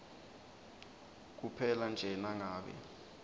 kuphela nje nangabe